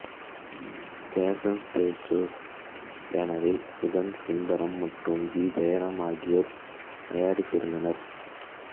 fashion Studios பேனரில் சுதன் சுந்தரம் மற்றும் G Jayaram ஆகியோர் தயாரித்திருந்தன்ர